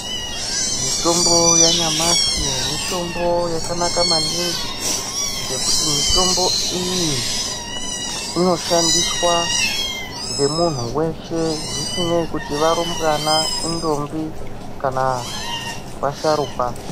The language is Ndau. Mutombo yanyamashi mitombo yakanaka maningi ngekuti mitombo iyi inoshandiswa ngemuntu weshe zvisinei kuti varumbwana, intombi kana vasharuka.